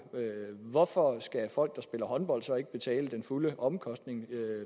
hvorfor skal folk der spiller håndbold så ikke betale den fulde omkostning